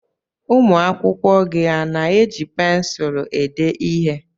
Ụmụ akwụkwọ gị a na-eji pensụlụ ede ihe?